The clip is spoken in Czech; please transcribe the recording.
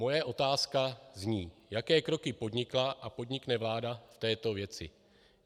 Moje otázka zní: Jaké kroky podnikla a podnikne vláda v této věci?